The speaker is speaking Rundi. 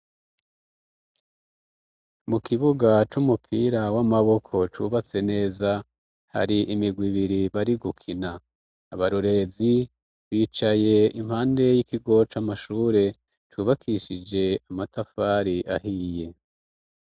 Mu kibuga c'umupira w'amaboko cubatse neza hari imigwi ibiri bari gukina, abarorerezi bicaye impande y'ikigo c'amashure cubakishije amatafari ahiye.